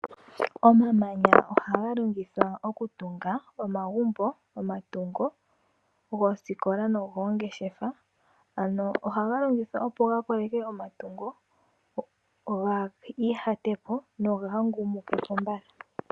Omamanya ohaga longithwa okutunga omagumbo, omatungo goosikola nogoongeshefa, ano ohaga longithwa opo gakoleke omatungo gaa ihate po nogahangumuke po mbala.